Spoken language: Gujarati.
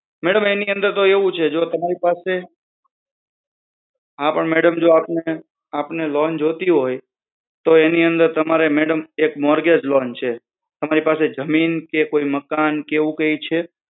મારે ટૂંક સમય માં જોઈએ છે, મેડમ એની અંદર તો એવું છે ને એટલા માટે હા પણ મેડમ જો આપને આપને લોન જોતી હોય તો એની અંદર તમારે મેડમ મોર્ગેજ લોન છે તમારી પાસે કોઈ જમીન કે મકાન કે એવું કઈ છે